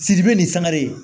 Sidibe ni sangare ye